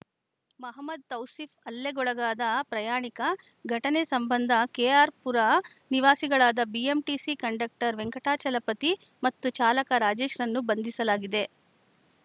ಮೊಹಮ್ಮದ್‌ ತೌಸಿಫ್‌ ಹಲ್ಲೆಗೊಳಗಾದ ಪ್ರಯಾಣಿಕ ಘಟನೆ ಸಂಬಂಧ ಕೆಆರ್‌ಪುರ ನಿವಾಸಿಗಳಾದ ಬಿಎಂಟಿಸಿ ಕಂಡಕ್ಟರ್‌ ವೆಂಕಟಾಚಲಪತಿ ಮತ್ತು ಚಾಲಕ ರಾಜೇಶ್‌ರನ್ನು ಬಂಧಿಸಲಾಗಿದೆ